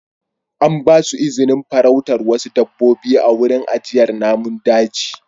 An ba su izinin farautar wasu dabbobi a wurin ajiyar namun daji.